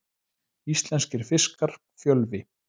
Íslenskir fiskar, Fjölvi.